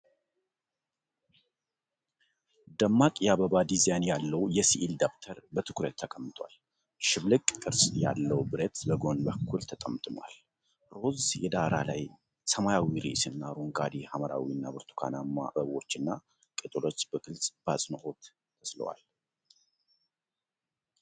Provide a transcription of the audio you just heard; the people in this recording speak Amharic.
ደማቅ የአበባ ዲዛይን ያለው የስዕል ደብተር በትኩረት ተቀምጧል። ሽብልቅ ቅርጽ ያለው ብረት በጎን በኩል ተጠምጥሟል። ሮዝ ዳራ ላይ ሰማያዊ ርዕስ እና አረንጓዴ፣ ሐምራዊ እና ብርቱካናማ አበቦችና ቅጠሎች በግልጽ በአጽንዖት ተስለዋል።